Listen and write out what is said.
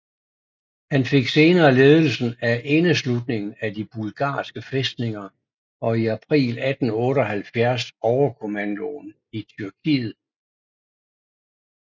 Han fik senere ledelsen af indeslutningen af de bulgarske fæstninger og i april 1878 overkommandoen i Tyrkiet